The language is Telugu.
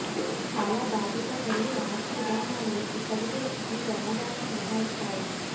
చాలా బాధ్యత మరియు ఆస్తి విధానాలు ఇప్పటికే ఈ ప్రమాదాలను మినహాయిస్తాయి